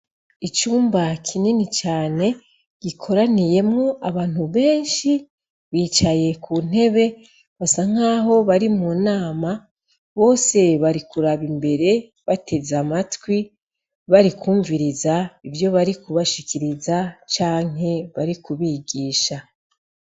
icumba kinini cane gikoraniyemwo abantu benshi bicaye kuntebe basa nkaho bari munama bose barikuraba imbere bateze amatwi barikwumviriza ivyo barikubashikiriza canke bari kubigisha.